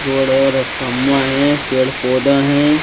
बड़े बड़े तमुया है पेड़ पौधा हैं।